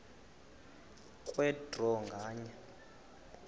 kwe draw nganye